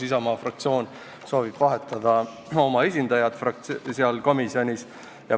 Isamaa fraktsioon soovib vahetada oma esindajat seal komisjonis.